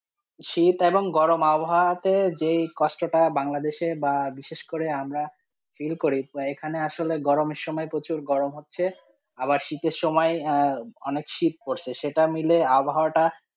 শীত এবং গরম আবহাওয়া তে যে কষ্ট টা বাংলাদেশ এ বা বিশেষ আমরা feel করি, এখানে আসলে গরমের সময়ে প্রচুর গরম হচ্ছে, আবার শীতের সময়ে অনেক শীত পরসে, সেটা মাইল আবহাওয়া টা.